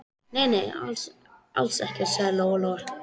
Nei, nei, alls ekkert, sagði Lóa-Lóa.